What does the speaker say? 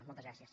moltes gràcies